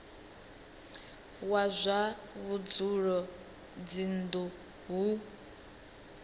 wa zwa vhudzulo dzinnu hu